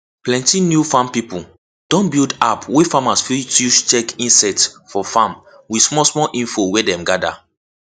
plenty new farm pipo don build app wey farmers fit use check insect for farm with smallsmall info wey dem gather